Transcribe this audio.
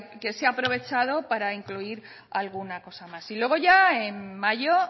que se ha aprovechado para incluir alguna cosa más y luego ya en mayo